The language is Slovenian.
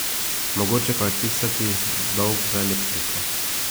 Mogoče pa je odpisati dolg za elektriko.